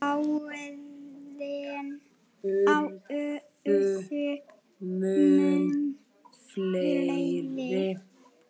Árin urðu mun fleiri.